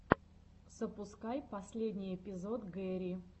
запускай последний эпизод гэри